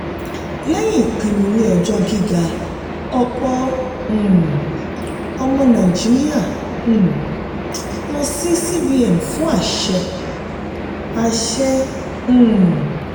lẹ́yìn ìpinnu ilé-ẹjọ́ gíga ọ̀pọ̀ um ọmọ nàìjíríà um lọ sí cbn fún àṣẹ. àṣẹ. um